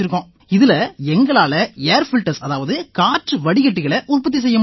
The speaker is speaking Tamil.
இதில எங்களால ஏர் பில்டர்ஸ் அதாவது காற்று வடிகட்டிகளை உற்பத்தி செய்ய முடியும்